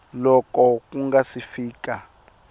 loko ku nga si fika